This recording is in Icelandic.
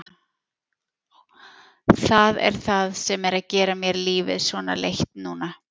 Það er það sem er að gera mér lífið svona leitt núna.